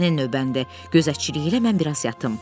Sənin növbəndir, gözətçilik elə, mən biraz yatım.